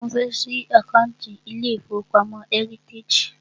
Mo fẹ́ ṣí àkántì ilé ìfọwọ́pamo Heritage.